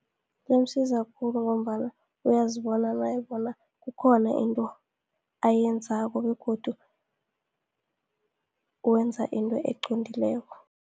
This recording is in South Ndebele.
Imsiza khulu, ngombana uyazibona naye bona, kukhona into ayenzako, begodu wenza into eqondileko.